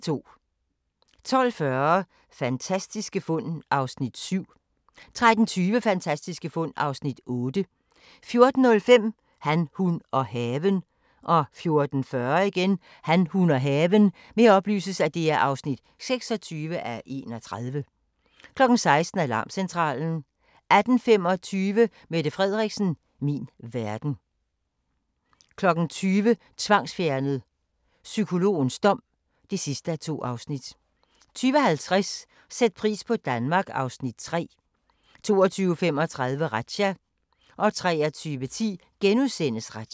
12:40: Fantastiske fund (Afs. 7) 13:20: Fantastiske fund (Afs. 8) 14:05: Han, hun og haven 14:40: Han, hun og haven (26:31) 16:00: Alarmcentralen 18:25: Mette Frederiksen - min verden 20:00: Tvangsfjernet: Psykologens dom (2:2) 20:50: Sæt pris på Danmark (Afs. 3) 22:35: Razzia 23:10: Razzia *